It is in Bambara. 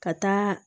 Ka taa